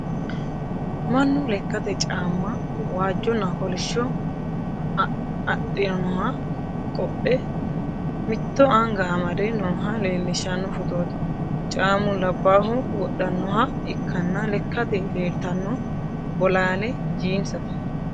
Mannu lekkate caamma waajjonna kolishsho adi'noha qodhe mitto anga amde nooha leellishshanno footooti. Caammu labbaahu wodhannoha ikkanna lekkate leeltanno bolaale jiinsete.